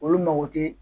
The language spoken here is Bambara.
Olu mago tɛ